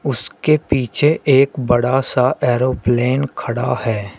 उसके पीछे एक बड़ा सा एरोप्लेन खड़ा है।